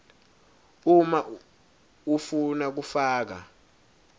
uma ufuna kufaka